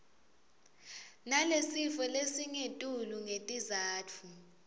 nalesifo lesingetulu ngetizatfu